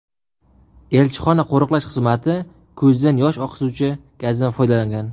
Elchixona qo‘riqlash xizmati ko‘zdan yosh oqizuvchi gazdan foydalangan.